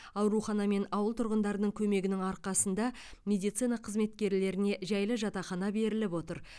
аурхана мен ауыл тұрғындарының көмегінің арқасында медицина қызметкерлеріне жайлы жатақхана беріліп отыр